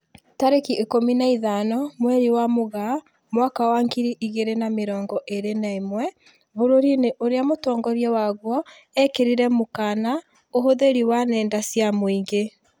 Tarĩki ikũmi na ithano mweri wa Mũgaa mwaka wa ngiri igĩrĩ na mĩrongo ĩrĩ na ĩmwe, bũrũri-inĩ ũrĩa mũtongoria waguo ekĩrirĩre mũkana ũhũthĩri wa nenda cia mũingĩ